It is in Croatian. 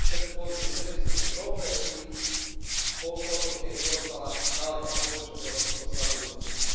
područja srednjoistočne Europe i otoke i ostala daleka područja koja su puno slabije dostupna.